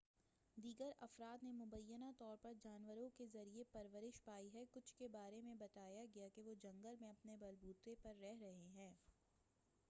دیگر افراد نے مبینہ طور پر جانوروں کے ذریعے پرورش پائی ہے کچھ کے بارے میں بتایا گیا کہ وہ جنگل میں اپنے بل بوتے پر رہ رہے ہیں